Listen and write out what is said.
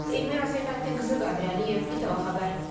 Elmira Səlfəddin qızı Qədirəliyev, İTV xəbər.